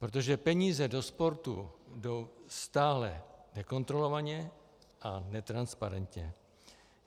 Protože peníze do sportu jdou stále nekontrolovaně a netransparentně.